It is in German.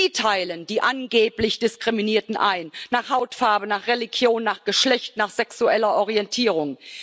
Sie teilen die angeblich Diskriminierten ein nach Hautfarbe, nach Religion, nach Geschlecht, nach sexueller Orientierung.